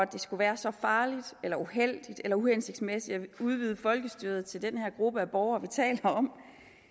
det skulle være så farligt eller uheldigt eller uhensigtsmæssigt at vi udvidede folkestyret til den her gruppe af borgere vi taler om